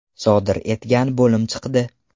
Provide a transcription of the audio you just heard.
sodir etgan bo‘lib chiqdi.